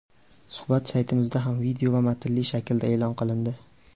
Suhbat saytimizda ham video va matnli shaklda e’lon qilindi .